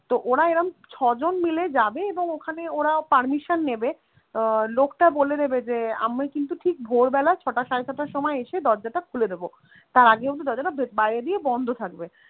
তো ওরা এরম ছয়জন মিলে ওরা যাবে এবং ওখানে ওরা permission নেবে আহ লোকটা বলে দেবে যে আমি কিন্তু ঠিক ভোরবেলা ছটা সাড়ে ছটার সময় এসে দরজাটা খুলে দেবো, তার আগে কিন্তু দরজাটা বাইরে দিয়ে বন্ধ থাকবে.